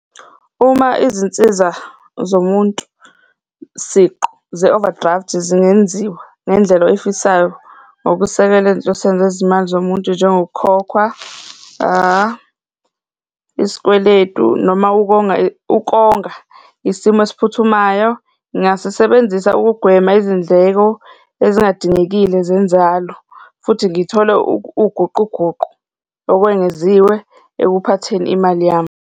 Uma izinsiza zomuntu siqu ze-overdraft-i zingenziwa ngendlela oyifisayo ngokusekela ezinhlosweni zezimali zomuntu, njengokukhokhwa isikweletu noma ukonga, ukonga isimo esiphuthumayo, ngasisebenzisa ukugwema izindleko ezingadingekile zenzalo futhi ngithole uguquguqu okwengeziwe ekuphatheni imali yami.